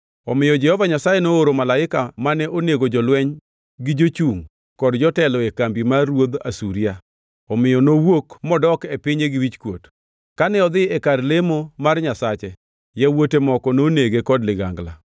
Omiyo Jehova Nyasaye nooro malaika mane onego jolweny gi jochungʼ kod jotelo e kambi mar ruodh Asuria, omiyo nowuok modok e pinye gi wichkuot. Kane odhi e kar lemo mar nyasache, yawuote moko nonege kod ligangla.